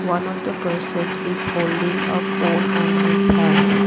one of the person is holding a phone on his hand.